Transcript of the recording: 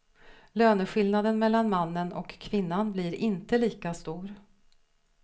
Löneskillnaden mellan mannen och kvinnan blir inte lika stor.